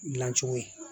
Dilancogo ye